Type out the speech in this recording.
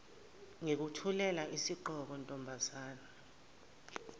ngikuthulela isigqoko ntombazane